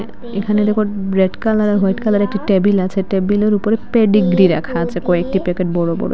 এখানে দেখো red colour white কালারের একটি টেবিল আছে টেবিলের উপরে পেডিগ্রি রাখা আছে কয়েকটি প্যাকেট বড়ো বড়ো।